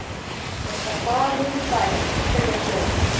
Ég skal fara niður í bæ og selja blöð.